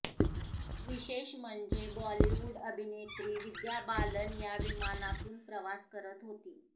विशेष म्हणजे बॉलीवुड अभिनेत्री विद्या बालन या विमानातून प्रवास करत होती